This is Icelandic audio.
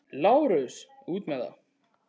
LÁRUS: Út með það!